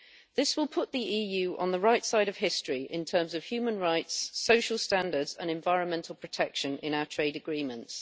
This will put the EU on the right side of history in terms of human rights, social standards and environmental protection in our trade agreements.